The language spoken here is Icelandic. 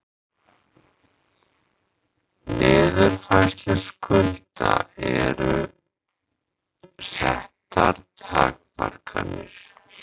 Niðurfærslu skulda eru settar takmarkanir